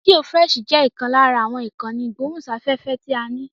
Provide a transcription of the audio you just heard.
Rédíò frẹ́ṣì jẹ́ ìkan lára àwọn ìkànnì ìgbóhùn sí afẹ́fẹ́ ti a ní.